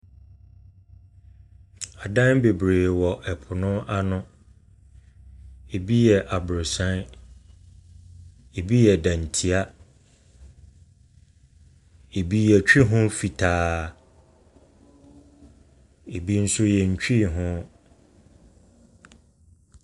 Adan bebree wɔ po no ano, bi yɛ abrɔsan, bi yɛ dantia, bi yɛtwi ho fitaa, bi nso yɛntwi ho.